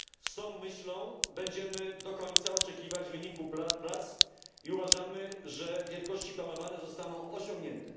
Z tą myślą będziemy do końca oczekiwać wyniku prac i uważamy, że wielkości planowane zostaną osiągnięte.